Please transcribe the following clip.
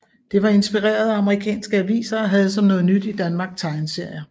Det var inspireret af amerikanske aviser og havde som noget nyt i Danmark tegneserier